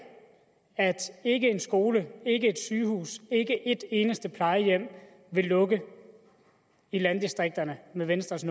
at ikke en skole ikke et sygehus ikke et eneste plejehjem vil lukke i landdistrikterne med venstres